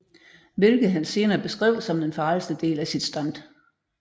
Hvilket han senere beskrev som den farligste del af sit stunt